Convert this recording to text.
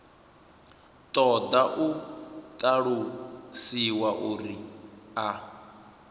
ṱoḓa u ṱalusiwa uri a